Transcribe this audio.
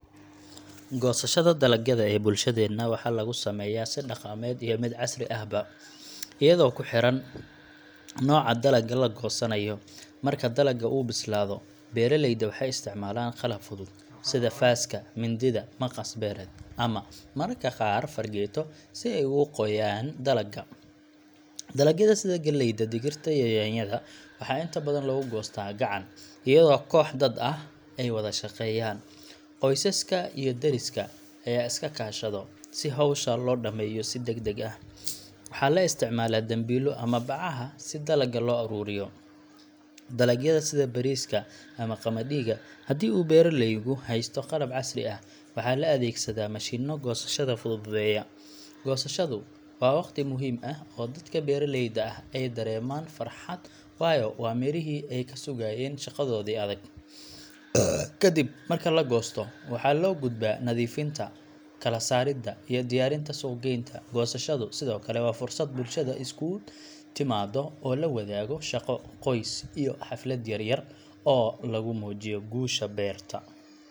Goosashada dalagyada ee bulshadeenna waxaa lagu sameeyaa si dhaqameed iyo mid casri ahba, iyadoo ku xiran nooca dalagga la goosanayo. Marka dalagga uu bislaado, beeraleyda waxay isticmaalaan qalab fudud sida faaska, mindida, maqas beereed ama mararka qaar fargeeto si ay ugu gooyaan dalagga. Dalagyada sida galleyda, digirta, iyo yaanyada waxaa inta badan lagu goostaa gacan, iyadoo kooxo dad ah ay wada shaqeeyaan. Qoysaska iyo deriska ayaa is kaashado si hawsha loo dhammeeyo si degdeg ah. Waxaa la isticmaalaa dambiilo ama bacaha si dalagga loo ururiyo. Dalagyada sida bariiska ama qamadiga haddii uu beeraleygu haysto qalab casri ah, waxaa la adeegsadaa mashiinno goosashada fududeeya. Goosashadu waa waqti muhiim ah oo dadka beeraleyda ah ay dareemaan farxad, waayo waa mirihii ay ka sugayeen shaqadoodii adag. Kadib marka la goosto, waxaa loo gudbaa nadiifinta, kala saaridda, iyo diyaarinta suuq-geynta. Goosashadu sidoo kale waa fursad bulshada isugu timaaddo oo la wadaago shaqo, qoys, iyo xaflad yar yar oo lagu muujiyo guusha beerta.